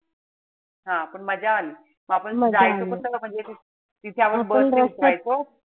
हा पण मजा आली. आपण जायचो पण कस. तिथे आपण bus नेच जायचो.